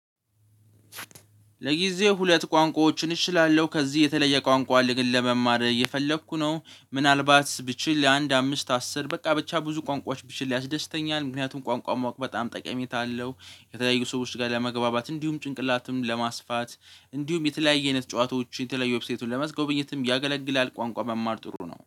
ለጊዜ ሁለት ቋንቋዎችን እችላለሁ ከዚህ የተለየ ቋንቋ ልግል ለመማር እየፈለኩ ነው ምናልባት ብችል ለአንድ አምስት አስር በቃ ብቻ ብዙ ቋንቋዎች ብችል ያስደስተኛል ምክንያቱም ቋንቋው ማወቅ በጣም ጠቀሜታ አለው። የተለያዩ ሰዎች ጋር ለመግባባት እንዲሁም ጭንቅላትም ለማስፋት እንዲሁም የተለያየ አይነት ጨዋታዎች የተለያየ ዌብሳይቱን ለማስጎብኘትም ያገለግላል ቋንቋ መማር ጥሩ ነው